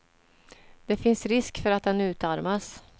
Det finns risk för att den utarmas.